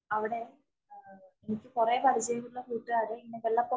അവിടെ എനിക്ക് കൊറേ പരിചയയമുള്ള കൂട്ടുകാരെ ഇന്ന് വെള്ള പൊക്ക